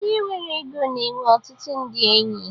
Onye nwere ego na-enwe ọtụtụ ndị enyi.